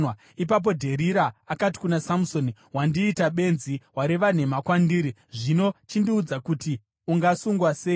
Ipapo Dherira akati kuna Samusoni, “Wandiita benzi; wareva nhema kwandiri. Zvino chindiudza kuti ungasungwa sei?”